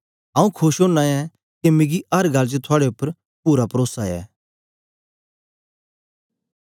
आंऊँ खोश ओना ऐं के मिकी अर गल्ल च थुआड़े उपर पूरा परोसा ऐ